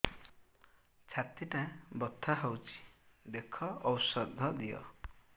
ଛାତି ଟା ବଥା ହଉଚି ଦେଖ ଔଷଧ ଦିଅ